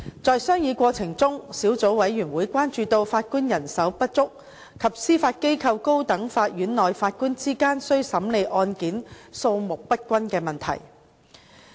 在商議過程中，小組委員會關注到法官人手不足及司法機構高等法院內法官之間須審理案件數目不均的問題。